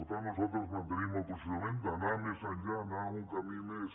per tant nosaltres mantenim el posicionament d’anar més enllà anar a un camí més